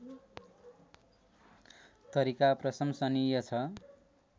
तरिका प्रशंसनीय छ